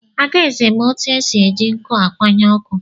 Adaeze ma otu esi eji nkụ akwanye ọkụ.